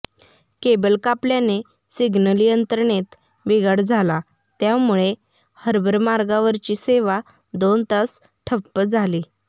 cable कापल्याने signal यंत्रणेत बिघाड झाला त्यामुळे हार्बर मार्गावरची सेवा दोन तास ठप्प झाली होती